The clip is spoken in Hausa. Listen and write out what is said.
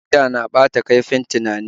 Giya na ɓata kaifin tunani